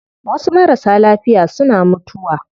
Wasu marasa lafiya suna mutuwa